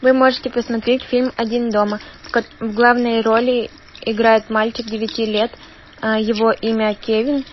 вы можете посмотреть фильм один дома в главной роли играет мальчик девяти лет его имя кевин